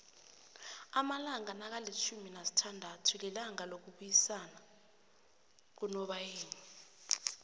amalanga nakalifjhumi nasithandathu lilanga lokubuyisanakunobayeni